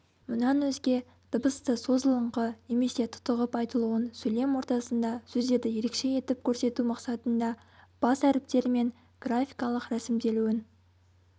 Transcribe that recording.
мұнан өзге дыбысты созылыңқы немесе тұтығып айтылуын сөйлем ортасында сөздерді ерекше етіп көрсету мақсатында бас әріптермен графикалық рәсімделуін